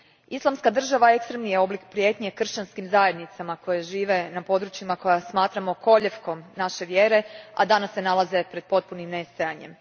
Islamska država ekstremni je oblik prijetnje kršćanskim zajednicama koje žive na područjima koje smatramo kolijevkom naše vjere, a danas se nalaze pred potpunim nestajanjem.